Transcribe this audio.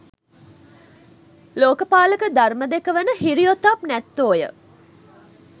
ලෝක පාලක ධර්ම දෙක වන හිරි ඔතප් නැත්තෝ ය.